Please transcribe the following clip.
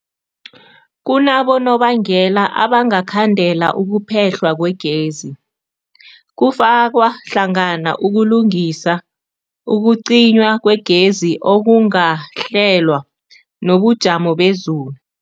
Kunabonobangela abangakhandela ukuphehlwa kwegezi, kufaka hlangana ukulungisa, ukucinywa kwegezi okungakahlelwa, nobujamo bezulu.